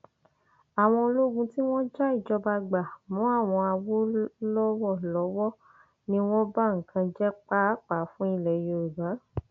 komisanna fẹtọ ẹkọ nípìnlẹ ẹkọ arábìnrin fọlásadé afetíyọ kéde ọrọ yìí nínú àtẹjáde kan lọjọ sátidé